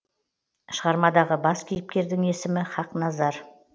шығармадағы бас кейіпкердің есімі хақназар